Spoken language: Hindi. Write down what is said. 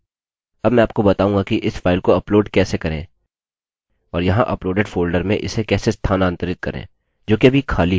अब मैं आपको बताऊँगा कि इस फाइल को अपलोड कैसे करें और यहाँ अपलोडेड फोल्डर में इसे कैसे स्थानांतरित करें जोकि अभी खाली है